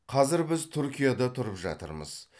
қазір біз түркияда тұрып жатырмыз